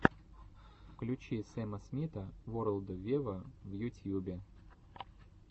включи сэма смита ворлд вево в ютьюбе